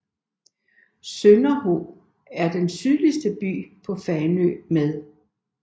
Sønderho er den sydligste by på Fanø med